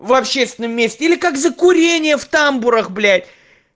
в общественном месте или как за курение в тамбурах блять